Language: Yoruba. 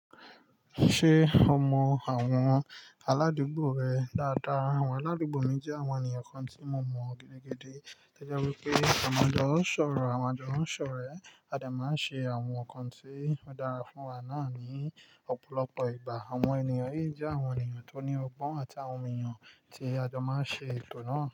Ṣé o mọ àwọn aládùúgbò rẹ dáadáa? Àwọn aládùúgbò mi jẹ́ àwọn ènìyàn kan tí mo mọ gidigidi. O jẹ́ wípé a maa n jo sọ̀rọ̀, à maa n jo sọrẹ̀, a de máa ń sẹ àwọn nǹkan tí ó dára fún wa náà ní ọ̀pọ̀lọpọ̀ ìgbà. Àwọn ènìyàn yìí jẹ́ àwọn ènìyàn tó ní ọgbọ́n àtàwọn ènìyàn tí a jọ máa ń ṣe ètò náà.